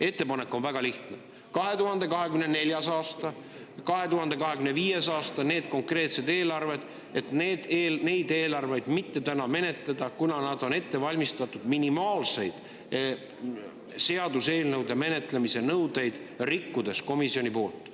Ettepanek on väga lihtne: 2024. aasta ja 2025. aasta eelarveid täna mitte menetleda, kuna need on ette valmistatud minimaalseid seaduseelnõude menetlemise nõudeid rikkudes komisjoni poolt.